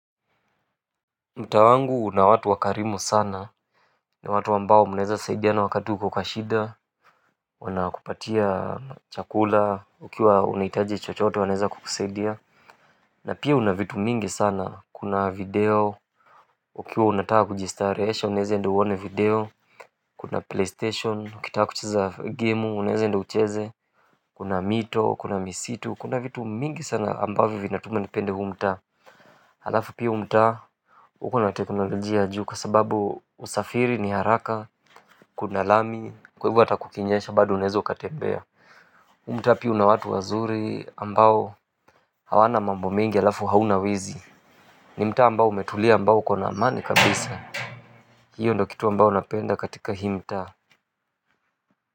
Mtaa wangu una watu wakarimu sana ni watu ambao mnaeza saidiana wakati uko kwa shida. Wanakupatia chakula ukiwa unahitaji chochote wanaeza kukusaidia na pia una vitu mingi sana kuna video ukiwa unataka kujistarehesha unaeze enda uone video kuna playstation ukitaka kucheza gemu unaeza enda ucheze kuna mito kuna misitu kuna vitu mingi sana ambavyo vinatuma nipende huu mtaa alafu pia huu mtaa ukona teknolojia ya juu kwa sababu usafiri ni haraka, kuna lami, kwa hivyo hata kukinyesha bado unaezo ukatembea huu mtaa pia una watu wazuri ambao hawana mambo mingi alafu hauna wizi ni mtaa ambao umetulia ambao ukona amani kabisa hiyo ndio kitu ambayo napenda katika hii mtaa.